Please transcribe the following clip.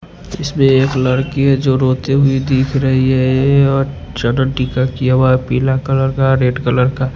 इसमें एक लड़की है जो रोती हुई दिख रही है ये और टिका किया हुआ पीला कलर का रेड कलर का--